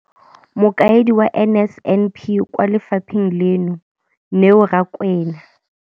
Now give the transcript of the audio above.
Mokaedi wa NSNP kwa lefapheng leno, Neo Rakwena,